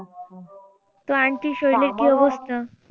তো aunty র শলীলে কী অবস্থা?